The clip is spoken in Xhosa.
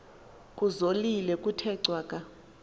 kuzolile kuthe cwaka